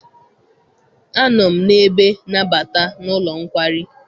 Anọ m n'ebe nabata n'ụlọ nkwari.